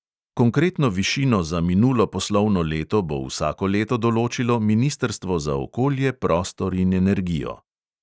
Konkretno višino za minulo poslovno leto bo vsako leto določilo ministrstvo za okolje, prostor in energijo.